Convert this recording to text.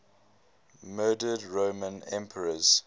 murdered roman emperors